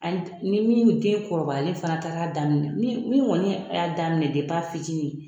n'i min den kɔrɔbalen fana taara daminɛ min min kɔni y'a daminɛ depi a fitini.